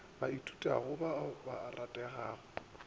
ba ithutago ba a ratega